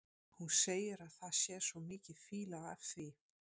Hún segir að það sé svo mikil fýla af því.